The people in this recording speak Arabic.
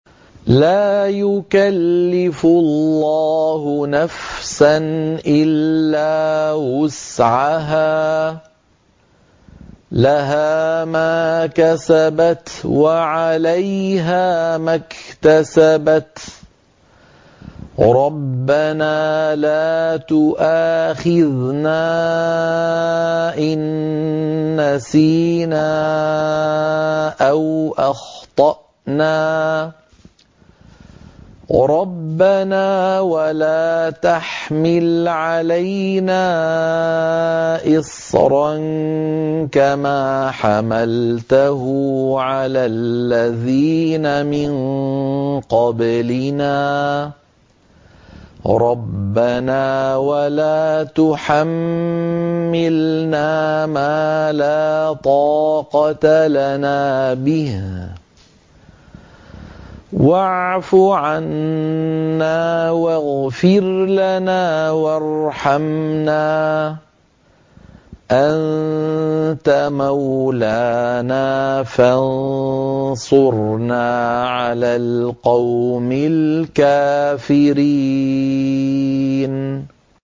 لَا يُكَلِّفُ اللَّهُ نَفْسًا إِلَّا وُسْعَهَا ۚ لَهَا مَا كَسَبَتْ وَعَلَيْهَا مَا اكْتَسَبَتْ ۗ رَبَّنَا لَا تُؤَاخِذْنَا إِن نَّسِينَا أَوْ أَخْطَأْنَا ۚ رَبَّنَا وَلَا تَحْمِلْ عَلَيْنَا إِصْرًا كَمَا حَمَلْتَهُ عَلَى الَّذِينَ مِن قَبْلِنَا ۚ رَبَّنَا وَلَا تُحَمِّلْنَا مَا لَا طَاقَةَ لَنَا بِهِ ۖ وَاعْفُ عَنَّا وَاغْفِرْ لَنَا وَارْحَمْنَا ۚ أَنتَ مَوْلَانَا فَانصُرْنَا عَلَى الْقَوْمِ الْكَافِرِينَ